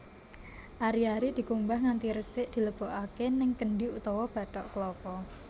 Ari ari dikumbah nganti resik dilebokake ning kendhi utawa bathok kelapa